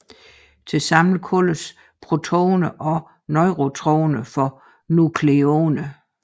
Tilsammen kaldes protoner og neutroner for nukleoner